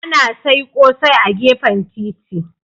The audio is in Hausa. Ana sai ƙosai a gefen titi.